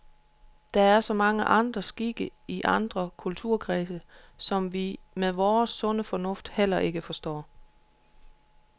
Der er så mange andre skikke i andre kulturkredse, som vi med vores sunde fornuft heller ikke forstår.